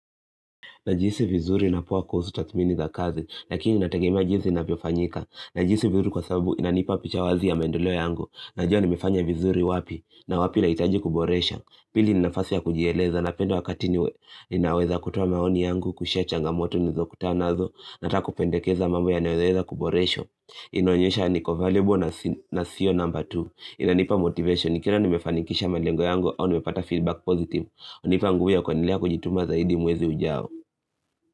Najihisi vizuri na poa kuhusu tathmini za kazi, lakini natagemea jinsi inavyofanyika. Najihisi vizuri kwa sababu inanipa picha wazi ya maendeleo yangu. Najua nimefanya vizuri wapi na wapi lahitaji kuboresha. Pili ni nafasi ya kujieleza napenda wakati niwe. Ninaweza kutoa maoni yangu, kushea changamoto nilizokutana nazo na hata kupendekeza mambo yanayoweza kuboreshwa. Inaonyesha niko available na sio namba tu. Inanipa motivation. Tena nimefanikisha malengo yangu au nimepata feedback positive. Unipa nguvu ya kuendelea kujituma zaidi mwezi ujao.